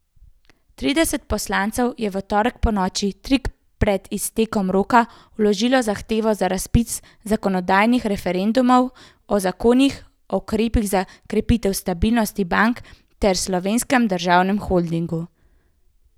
Trideset poslancev je v torek ponoči tik pred iztekom roka vložilo zahtevo za razpis zakonodajnih referendumov o zakonih o ukrepih za krepitev stabilnosti bank ter Slovenskem državnem holdingu.